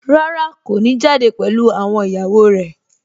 Rárá, kò ní jáde pẹ̀lú àwọn ìyàwó rẹ̀